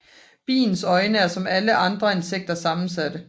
Biens øjne er som hos alle andre insekter sammensatte